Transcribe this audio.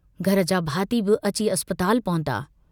घर जा भाती बि अची अस्पताल पहुता।